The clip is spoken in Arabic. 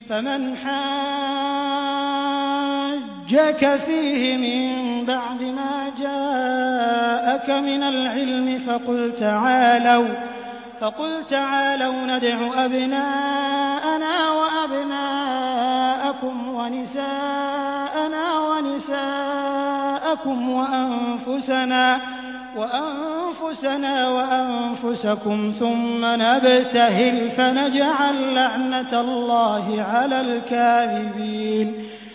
فَمَنْ حَاجَّكَ فِيهِ مِن بَعْدِ مَا جَاءَكَ مِنَ الْعِلْمِ فَقُلْ تَعَالَوْا نَدْعُ أَبْنَاءَنَا وَأَبْنَاءَكُمْ وَنِسَاءَنَا وَنِسَاءَكُمْ وَأَنفُسَنَا وَأَنفُسَكُمْ ثُمَّ نَبْتَهِلْ فَنَجْعَل لَّعْنَتَ اللَّهِ عَلَى الْكَاذِبِينَ